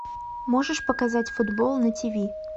можешь показать футбол на тв